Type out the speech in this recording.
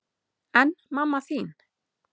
En mamma þín?